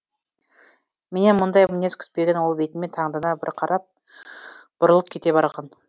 менен мұндай мінез күтпеген ол бетіме таңдана бір қарап бұрылып кете барған